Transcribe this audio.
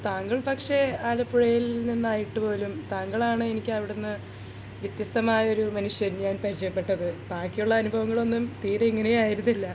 താങ്കൾ പക്ഷേ ആലപ്പുഴയിൽ നിന്നായിട്ടു പോലും താങ്കളാണ് എനിക്ക് അവിടുന്ന് വ്യത്യസ്തമായ ഒരു മനുഷ്യൻ ഞാൻ പരിചയപെട്ടത് ബാക്കിയുള്ള അനുഭവങ്ങൾ ഒന്നും തീരെ ഇങ്ങനെ ആയിരുന്നില്ല